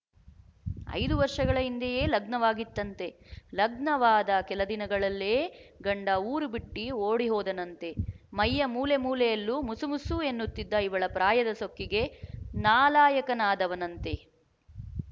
ಐದು ವರ್ಷಗಳ ಹಿಂದೆಯೇ ಲಗ್ನವಾಗಿತ್ತಂತೆ ಲಗ್ನವಾದ ಕೆಲ ದಿನಗಳಲ್ಲೇ ಗಂಡ ಊರು ಬಿಟ್ಟಿ ಓಡಿಹೋದನಂತೆ ಮೈಯ ಮೂಲೆಮೂಲೆಯಲ್ಲಿ ಮುಸುಮುಸು ಎನ್ನುತ್ತಿದ್ದ ಇವಳ ಪ್ರಾಯದ ಸೊಕ್ಕಿಗೆ ನಾಲಾಯಕನಾದವನಂತೆ